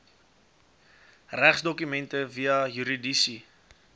regsdokumente via juridiese